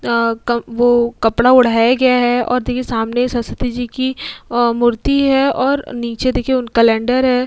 अ क वो कपड़ा ओढ़ाया गया है और देखिए सामने सरस्वती जी की मूर्ति है और नीचे देखिए उन कैलेंडर है।